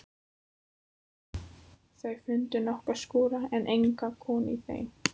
Þau fundu nokkra skúra en enga konu í þeim.